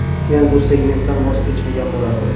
Men bu segmentdan voz kechmagan bo‘lardim.